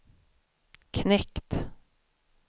knekt